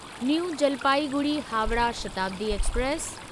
new Jalpaiguri Howrah Shatabdi express